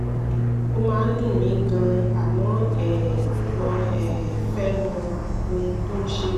ó máa ń dùn mí gan-an àmọ́ um mo um fẹ́ mọ ohun tó ń ṣe mí